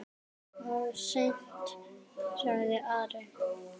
Of seint, sagði Ari.